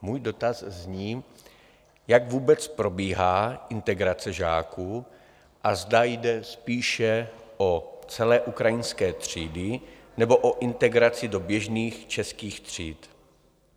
Můj dotaz zní, jak vůbec probíhá integrace žáků a zda jde spíše o celé ukrajinské třídy, nebo o integraci do běžných českých tříd.